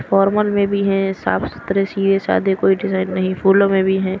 Formal में भी है साफ सुथरे सीए साधे कोई डिजाइन नहीं फूलों में भी है।